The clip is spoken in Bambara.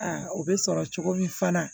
o bɛ sɔrɔ cogo min fana